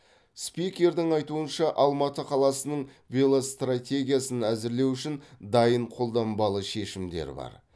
спикердің айтуынша алматы қаласының велостратегиясын әзірлеу үшін дайын қолданбалы шешімдер бар